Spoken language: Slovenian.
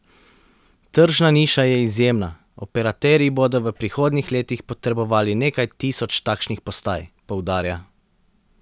Tržna niša je izjemna, operaterji bodo v prihodnjih letih potrebovali nekaj tisoč takšnih postaj, poudarja.